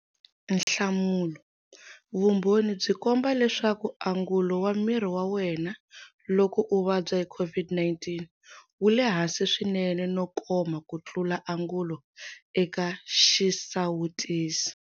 Nhlamulo- Vumbhoni byi komba leswaku angulo wa miri wa wena, loko u vabya COVID-19, wu le hansi swinene no koma ku tlula angulo eka xisawutisi.